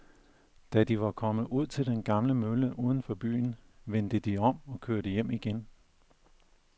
Da de var kommet ud til den gamle mølle uden for byen, vendte de om og kørte hjem igen.